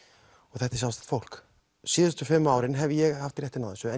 þetta er sjálfstætt fólk síðustu fimm árin hef ég haft réttinn á þessu en